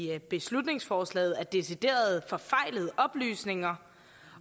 i beslutningsforslaget er decideret forfejlede oplysninger